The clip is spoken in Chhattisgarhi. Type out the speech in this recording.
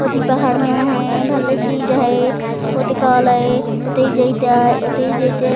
ओति पहाड़ मेना है भल्ला चीज है ओती काला है ओते जाइते ओते जयते--